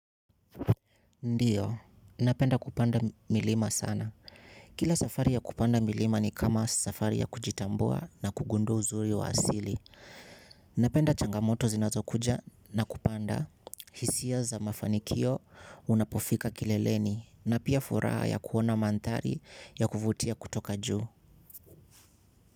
Ndiyo, napenda kupanda milima sana. Kila safari ya kupanda milima ni kama safari ya kujitambua na kugundua uzuri wa asili. Napenda changamoto zinatokuja na kupanda. Hisia za mafanikio unapofika kileleni na pia furaha ya kuona manthari ya kuvutia kutoka juu.